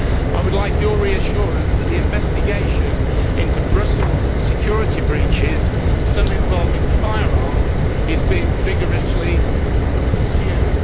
I would like your reassurance that the investigation into Brussels security breaches, some involving firearms, is being vigorously pursued.